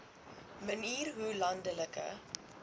manier hoe landelike